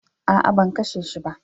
A'a, ban kashe shi ba.